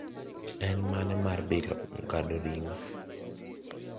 en mane mar bilo ngado ringo